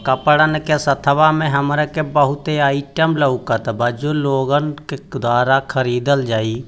कपड़ा के साथ में बहुत ही आइटम लग रहा है | बहुत लोग उधर खरीदने को जा रहे है |